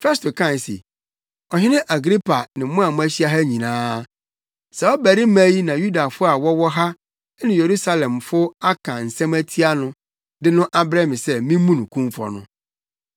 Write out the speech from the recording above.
Festo kae se, “Ɔhene Agripa ne mo a moahyia ha nyinaa, saa ɔbarima yi na Yudafo a wɔwɔ ha ne Yerusalemfo aka nsɛm atia no, de no abrɛ me sɛ mimmu no kumfɔ no,